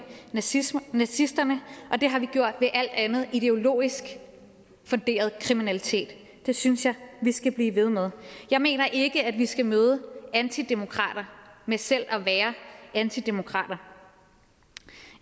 nazisterne nazisterne og det har vi gjort ved alt andet ideologisk funderet kriminalitet det synes jeg at vi skal blive ved med jeg mener ikke at vi skal møde antidemokrater med selv at være antidemokrater